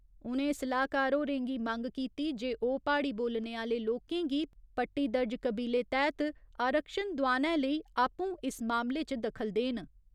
उ'नें सलाह्‌कार होरें गी मंग कीती जे ओह् प्हाड़ी बोलने आह्‌ले लोकें गी पट्टीदर्ज कबीले तैह्त आरक्षण दोआनै लेई आपूं इस मामले च दखल देन।